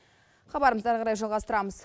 хабарымызды ары қарай жалғастырамыз